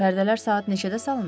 Pərdələr saat neçədə salınıb?